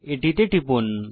এটিতে টিপুন